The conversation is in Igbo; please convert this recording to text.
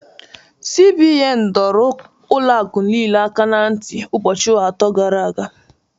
CBN nyere ụlọ akụ niile aka na ntị ụbọchị atọ gara aga